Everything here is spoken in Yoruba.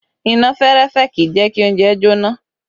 Iná fẹ́rẹ́fẹ́ kì í jẹ kí oúnjẹ jóná